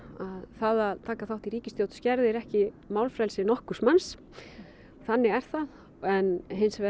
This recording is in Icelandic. það að taka þátt í ríkisstjórn skerðir ekki málfrelsi nokkurs manns þannig er það en hins vegar